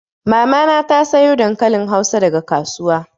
Mama na ta sayo dankalin hausa daga kasuwa.